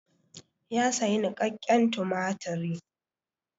Ya sayi niƙakƙen tumatiri.